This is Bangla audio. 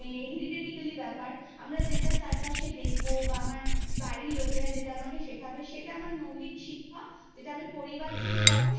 Heridetically ব্যাপার আমরা যেটা চারপাশে দেখবো বা আমার বাড়ির লোকেরা যেটা আমাকে শেখাবে সেটা আমার মৌলিক শিক্ষা যেটা আমি পরিবার থেকে পাবো